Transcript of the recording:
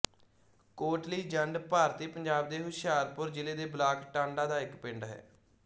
ਕੋਟਲੀ ਜੰਡ ਭਾਰਤੀ ਪੰਜਾਬ ਦੇ ਹੁਸ਼ਿਆਰਪੁਰ ਜ਼ਿਲ੍ਹੇ ਦੇ ਬਲਾਕ ਟਾਂਡਾ ਦਾ ਇੱਕ ਪਿੰਡ ਹੈ